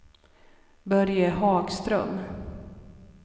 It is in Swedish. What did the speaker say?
Börje Hagström